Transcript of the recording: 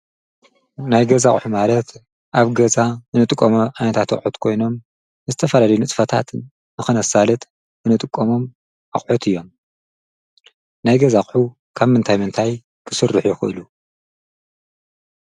ናይ ገዛ ኣቕሑ ማለት ኣብ ገዛ ንጥቀሞም ዓይነታት ኣቑሑ ኮይኖም ዝተፈላለዩ ንጥፈታት ንኽነሳልጥ ንጥቀሞም ኣቕሑት እዮም፡፡ ናይ ገዛቕሑ ካብ ምንታይ ምንታይ ክስርሑ ይኽእሉ?